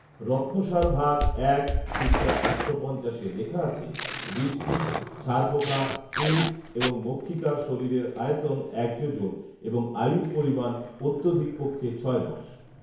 রত্নসার ভাগ এক পৃষ্ঠা একশো পঞ্চাশে লেখা আছে, বৃশ্চিক, ছারপোকা, উঁশ এবং মক্ষিকার শরীরের আয়তন এক যোজন এবং আয়ুর পরিমাণ অত্যধিক পক্ষে ছয় মাস